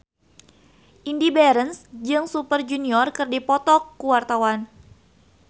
Indy Barens jeung Super Junior keur dipoto ku wartawan